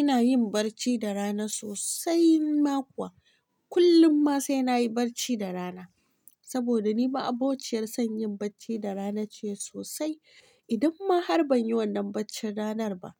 Ina yin barci da rana sosai ma kuwa kullum ma sai na yi barci da rana. Saboda ni ma'abociyar sanyin bacci da rana ce sosai. Idan ma har ban yi wannan bacci ranar ba,